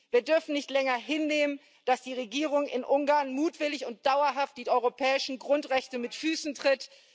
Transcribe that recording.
7. Wir dürfen nicht länger hinnehmen, dass die Regierung in Ungarn mutwillig und dauerhaft die europäischen Grundrechte mit Füßen tritt.